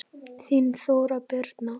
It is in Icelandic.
Þín Þóra Birna.